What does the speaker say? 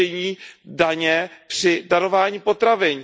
řešení daně při darování potravin.